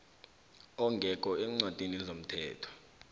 ongekho eencwadini zomthetho